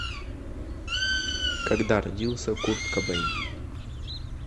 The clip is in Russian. когда родился курт кобейн